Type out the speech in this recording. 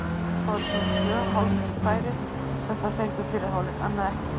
Það voru svona tvö hálffæri sem þær fengu í fyrri hálfleik, annað ekki.